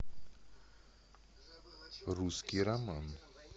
русский роман